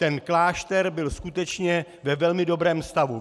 Ten klášter byl skutečně ve velmi dobrém stavu.